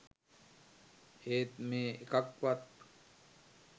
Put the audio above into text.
ඒත් මේ එකක්වත්